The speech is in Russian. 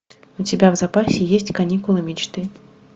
у тебя в запасе есть каникулы мечты